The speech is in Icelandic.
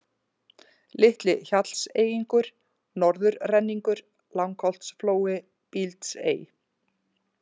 Litli-Hjallseyingur, Norðurrenningur, Langholtsflói, Bíldsey